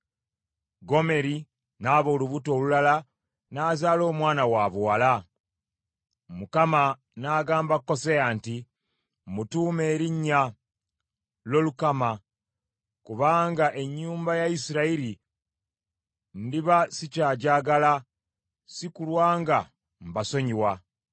Gomeri n’aba olubuto olulala, n’azaala omwana wabuwala. Mukama n’agamba Koseya nti, “Mmutuume erinnya Lolukama, kubanga ennyumba ya Isirayiri ndiba sikyagyagala, si kulwa nga mbasonyiwa.